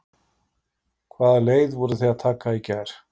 Kjartan: Hvaða leið voruð þið að taka í gær?